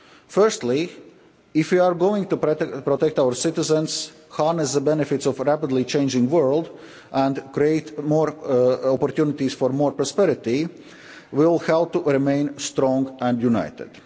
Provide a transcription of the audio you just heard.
Firstly if we are going to protect our citizens, harness the benefits of a rapidly changing world and create more opportunities for more prosperity, we will have to remain strong and